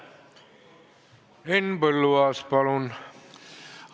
Henn Põlluaas, palun!